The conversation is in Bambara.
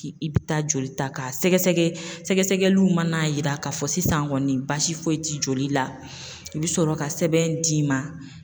K'i i bɛ taa joli ta ka sɛgɛsɛgɛ, sɛgɛsɛgɛliw mana yira k'a fɔ sisan kɔni baasi foyi ti joli la u bi sɔrɔ ka sɛbɛn d'i ma.